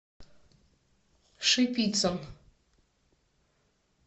шипицын